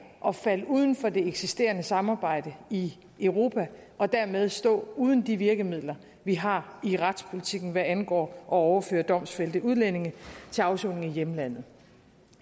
at falde uden for det eksisterende samarbejde i europa og dermed stå uden de virkemidler vi har i retspolitikken hvad angår at overføre domfældte udlændinge til afsoning i hjemlandet